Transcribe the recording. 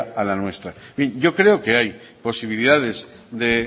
a la nuestra bien yo creo que hay posibilidades de